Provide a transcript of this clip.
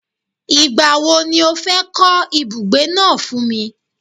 Igba wo ni o fe ko ibugbe naa fun mi?